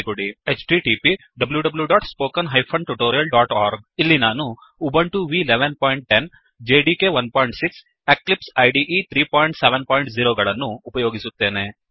httpwwwspoken tutorialಒರ್ಗ್ ಇಲ್ಲಿ ನಾನು Ubuntu v 1110 Ubuntu version ೧೧೧೦ JDK 16 JDK ೧೬ ಮತ್ತು ಎಕ್ಲಿಪ್ಸ್ ಇದೆ 370 ಮತ್ತು ಎಕ್ಲಿಪ್ಸ್ ಐಡಿಇ ೩೭೦ ಗಳನ್ನು ಉಪಯೋಗಿಸುತ್ತೇನೆ